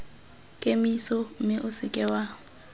kemiso mme o seke wa